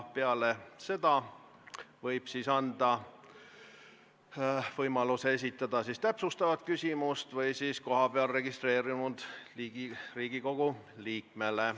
Peale seda võib juhataja anda võimaluse esitada täpsustav küsimus või anda küsimuse esitamise võimaluse kohapeal registreerunud Riigikogu liikmele.